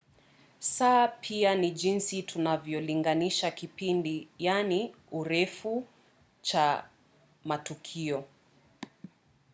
saa pia ni jinsi tunavyolinganisha kipindi urefu cha matukio